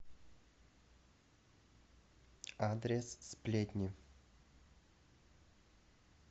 адрес сплетни